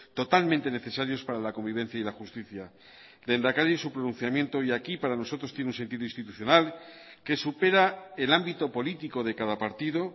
totalmente necesarios para la convivencia y la justicia lehendakari su pronunciamiento hoy aquí para nosotros tiene un sentido institucional que supera el ámbito político de cada partido